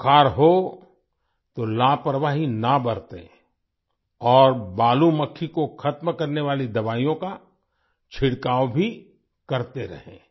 बुखार हो तो लापरवाही ना बरतें और बालू मक्खी को खत्म करने वाली दवाइयों का छिड़काव भी करते रहें